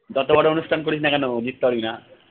যতবড় অনুষ্ঠান করিসনা কেন জিততে পারবিনা।